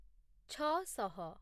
ଛଅ ଶହ